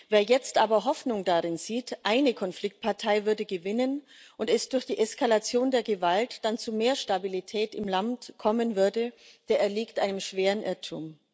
Wer jetzt aber Hoffnung darin sieht, eine Konfliktpartei würde gewinnen und es würde durch die Eskalation der Gewalt dann zu mehr Stabilität im Land kommen, der erliegt einem schweren Irrtum.